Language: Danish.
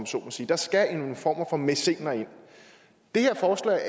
så må sige der skal en form for mæcener ind det her forslag